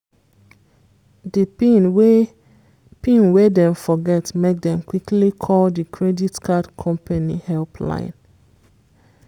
di pin wey pin wey dem forget make dem quickly call di credit card company help line.